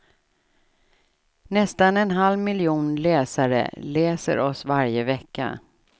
Nästan en halv miljon läsare läser oss varje vecka.